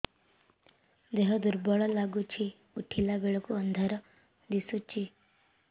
ଦେହ ଦୁର୍ବଳ ଲାଗୁଛି ଉଠିଲା ବେଳକୁ ଅନ୍ଧାର ଦିଶୁଚି